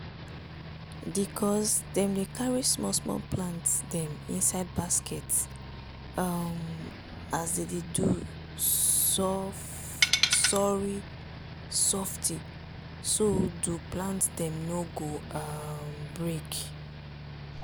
di cuz dem carry small small plant dem inside basket um as dem dey do sorry softy so do plant dem no go um break.